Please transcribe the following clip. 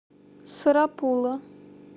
сарапула